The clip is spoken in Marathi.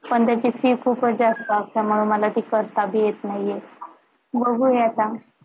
पण त्याची fees खूप जास्त असते म्हणून मला ती करता बी येत नाहीये